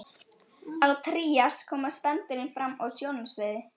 Á trías koma spendýrin fram á sjónarsviðið.